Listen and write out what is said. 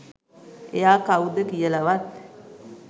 එයා කවුද කියලවත්